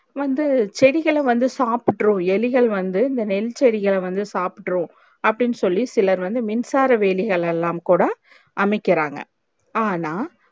வந்து செடிகள வந்து சாப்ற்று எலிகள் வந்து இந்த நெல் செடிகள் வந்து சாப்ற்று அப்டின்னு சொல்லி சிலர் வந்து மின்சார வேலிகள் எல்லாம் கூட அமைக்குறாங்க ஆனா